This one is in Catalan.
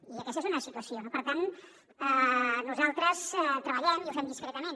i aquesta és una situació no per tant nosaltres treballem i ho fem discretament